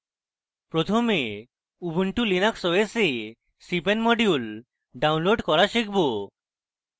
প্রথমে ubuntu linux os we cpan modules download করা শিখব